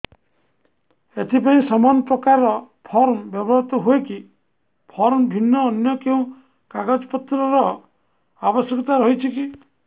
ଏଥିପାଇଁ ସମାନପ୍ରକାର ଫର୍ମ ବ୍ୟବହୃତ ହୂଏକି ଫର୍ମ ଭିନ୍ନ ଅନ୍ୟ କେଉଁ କାଗଜପତ୍ରର ଆବଶ୍ୟକତା ରହିଛିକି